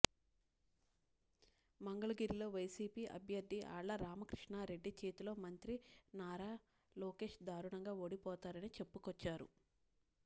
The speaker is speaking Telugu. మంగళగిరిలో వైసీపీ అభ్యర్థి ఆళ్ల రామకృష్ణారెడ్డి చేతిలో మంత్రి నారా లోకేష్ దారుణంగా ఓడిపోతారని చెప్పుకొచ్చారు